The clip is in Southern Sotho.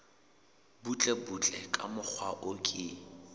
butlebutle ka mokgwa o ke